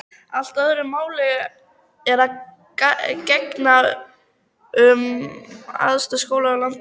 Allt öðru máli er að gegna um æðstu skóla landsins.